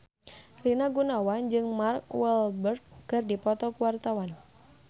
Rina Gunawan jeung Mark Walberg keur dipoto ku wartawan